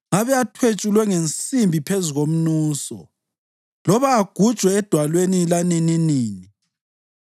ngabe athwetshulwe ngensimbi phezu komnuso, loba agujwe edwaleni lanininini!